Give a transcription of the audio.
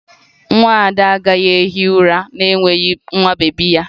Nwa Ada agaghị ehi ụra n'enweghị nwa bebi ya